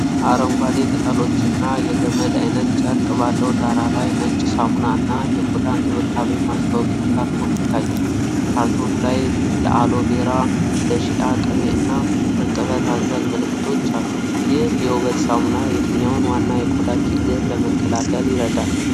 አረንጓዴ ቅጠሎችና የገመድ አይነት ጨርቅ ባለው ዳራ ላይ ነጭ ሳሙና እና የቆዳ እንክብካቤ ማስታወቂያ ካርቶን ይታያል። ካርቶኑ ላይ ለአሎቬራ፣ ለሺአ ቅቤ እና እርጥበት አዘል ምልክቶች አሉ። ይህ የውበት ሳሙና የትኛውን ዋና የቆዳ ችግር ለመከላከል ይረዳል?